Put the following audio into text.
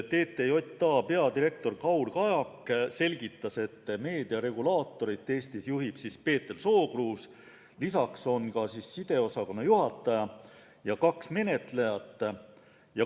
TTJA peadirektor Kaur Kajak selgitas, et meediaregulaatorit Eestis juhib Peeter Sookruus, lisaks on sideosakonna juhataja ja kaks menetlejat.